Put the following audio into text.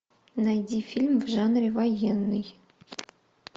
найди фильм в жанре военный